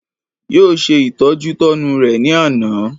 Yóò se ìtọ́jútọ́nu rẹ ní àná